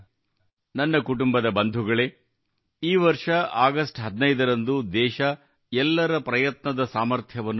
ನನ್ನ ಕುಟುಂಬದ ಬಂಧುಗಳೇ ಈ ವರ್ಷ ಆಗಸ್ಟ್ 15 ರಂದು ದೇಶ ಎಲ್ಲರ ಪ್ರಯತ್ನದ ಸಬ್ ಕಾ ಪ್ರಯಾಸ್ ಸಾಮರ್ಥ್ಯವನ್ನು ನೋಡಿತು